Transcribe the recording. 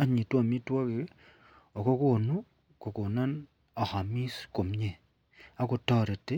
anyinyitun amitwagik akokonu kokonon ayamis komie akotareti